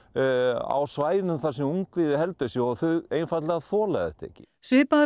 á svæðum þar sem ungviðið heldur sig og þau einfaldlega þola þetta ekki svipaðar